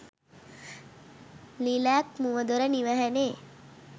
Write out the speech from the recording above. lilac මුවදොර නිව‍හනේ